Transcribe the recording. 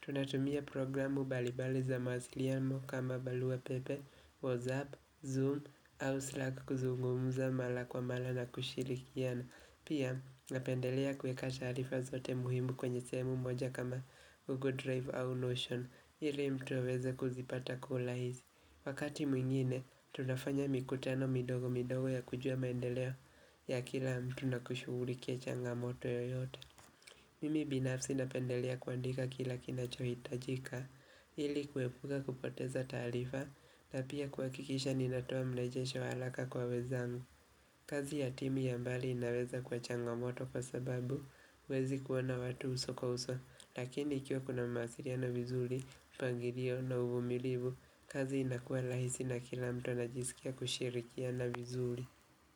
Tunatumia programu mbalimbali za mawasiliano kama barua pepe, whatsapp, zoom, au slack kuzungumza mara kwa mara na kushirikiana. Pia napendelea kuweka taarifa zote muhimu kwenye sehemu moja kama Google Drive au Notion, ili mtu aweze kuzipata kwa urahisi. Wakati mwingine tunafanya mikutano midogo midogo ya kujua maendeleo ya kila mtu na kushugulikia changamoto yoyote Mimi binafsi napendelea kuandika kila kinachohitajika, ili kuepuka kupoteza taarifa na pia kuhakikisha ninatoa mrejesho wa haraka kwa wenzangu kazi ya timu ya mbali inaweza kuwa changamoto kwa sababu, huwezi kuwa na watu uso kwa uso, lakini ikiwa kuna mawasiliano vizuri, mpangilio na uvumilivu, kazi inakuwa rahisi na kila mtu anajisikia kushirikiana vizuri.